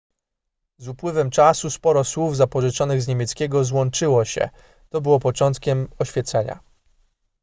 z upływem czasu sporo słów zapożyczonych z niemieckiego złączyło się to było początkiem oświecenia